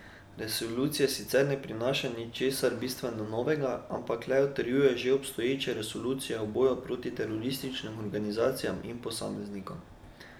Resolucija sicer ne prinaša ničesar bistveno novega, ampak le utrjuje že obstoječe resolucije o boju proti terorističnim organizacijam in posameznikom.